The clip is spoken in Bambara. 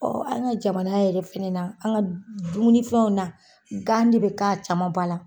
Ɔn an ka jamana yɛrɛ fɛnɛ na, an ka dumunifɛnw na gan de be k'a caman ba la.